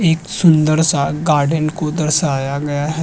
एक सुंदर सा गार्डन को दर्शाया गया है।